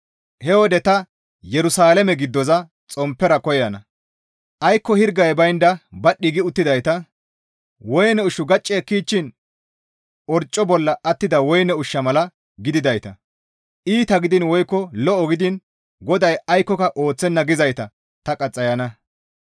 He wode ta Yerusalaame giddoza xomppera koyana; aykko hirgay baynda badhdhi gi uttidayta, woyne ushshu gacci ekkichchiin orcco bolla attida woyne ushsha mala gididayta, ‹Iita gidiin woykko lo7o gidiin GODAY aykkoka ooththenna› gizayta ta qaxxayana.